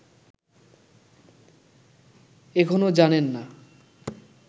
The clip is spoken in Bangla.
এখনো জানেন না